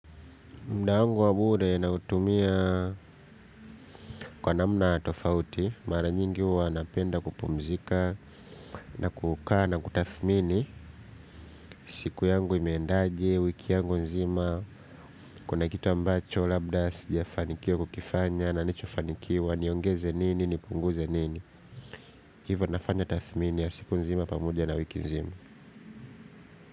Mda wangu wa bure nautumia kwa namna tofauti, mara nyingi uwa napenda kupumzika na kukaa na kutathmini siku yangu imendaje, wiki yangu nzima, kuna kitu ambacho, labda sijafanikio kukifanya, nanichofanikiwa, niongeze nini, nipunguze nini, hivyo nafanya tathmini ya siku nzima pamoja na wiki nzima.